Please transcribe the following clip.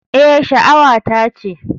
Eh, sha'awata ce.